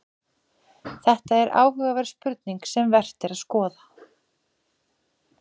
Þetta er áhugaverð spurning sem vert er að skoða nánar.